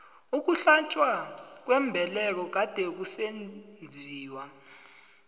ukuhlatjwa kwembeleko kade kusenziwa